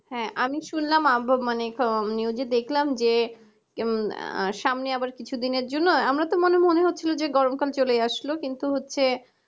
হ্যাঁ আমি শুনলাম আবু মানে খ news এ দেখলাম যে আহ সামনে আবার কিছুদিনের জন্য আমরা তো মনে মনে হচ্ছিল যে গরমকাল চলে আসলো কিন্তু হচ্ছে